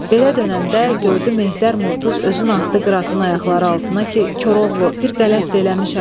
Belə dönəndə gördü Mehdər Murtuz özünü atdı Qıratın ayaqları altına ki, Koroğlu, bir qələt eləmişəm.